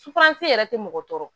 Sufan se yɛrɛ tɛ mɔgɔ tɔɔrɔ